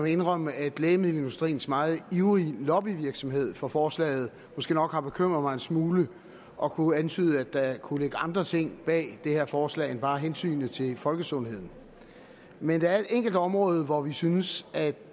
indrømme at lægemiddelindustriens meget ivrige lobbyvirksomhed for forslaget måske nok har bekymret mig en smule og kunne antyde at der kunne ligge andre ting bag det her forslag end bare hensynet til folkesundheden men der er et enkelt område hvor vi synes at